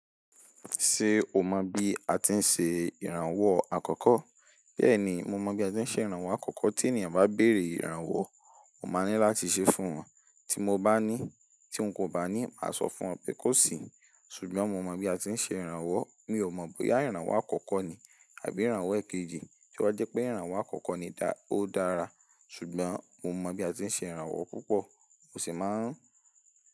Ṣé o mọ bí a ti ń ṣe ìrànwọ́ àkọ́kọ́? Bẹ́ẹ̀ni, mo mọ bí a ti ń ṣe ìrànwọ́ àkọ́kọ́. Tí ènìyàn bá béèrè ìrànwọ́, mo máa ní láti ṣe fún wọn. Tí mo bá ní, tí n kò bá ní, màá sọ fún wọn pé kó sì. Ṣùgbọ́n mo mọ bí a ti ń ṣe ìrànwọ́. Mi ò mọ̀ bóyá ìrànwọ́ àkọ́kọ́ ni àbí ìrànwọ́ èkejì. Ṣé wá jẹ́ pé ìrànwọ́ àkọ́kọ́ ni ó dára? Ṣùgbọ́n mo mọ bí a ti ń ṣe ìrànwọ́ púpọ̀, mo sì máa ń.